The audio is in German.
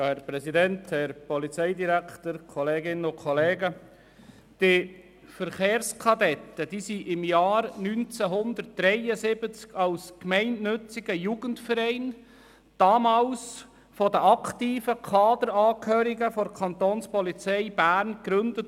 Der Verein Verkehrskadetten (VK-BE) wurde im Jahr 1973 als gemeinnütziger Jugendverein von den aktiven Kaderangehörigen der Kapo Bern gegründet.